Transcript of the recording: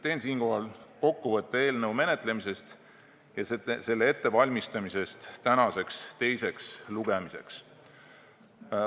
Teen siinkohal kokkuvõtte eelnõu menetlemisest ja selle ettevalmistamisest tänaseks teiseks lugemiseks.